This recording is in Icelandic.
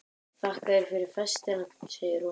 Þakka þér fyrir festina, segir hún.